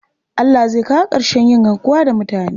Allah zai kawo ƙarshen yin garkuwa da mutane.